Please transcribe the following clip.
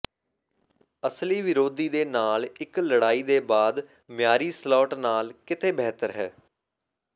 ਅਸਲੀ ਵਿਰੋਧੀ ਦੇ ਨਾਲ ਇੱਕ ਲੜਾਈ ਦੇ ਬਾਅਦ ਮਿਆਰੀ ਸਲੋਟ ਨਾਲ ਕਿਤੇ ਬਿਹਤਰ ਹੈ